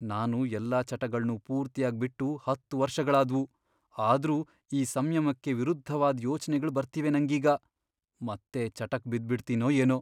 ನಾನು ಎಲ್ಲ ಚಟಗಳ್ನೂ ಪೂರ್ತಿಯಾಗ್ ಬಿಟ್ಟು ಹತ್ತ್ ವರ್ಷಗಳಾದ್ವು. ಆದ್ರೂ ಈ ಸಂಯಮಕ್ಕೆ ವಿರುದ್ಧವಾದ್ ಯೋಚ್ನೆಗಳ್ ಬರ್ತಿವೆ ನಂಗೀಗ. ಮತ್ತೆ ಚಟಕ್ ಬಿದ್ಬಿಡ್ತೀನೋ ಏನೋ!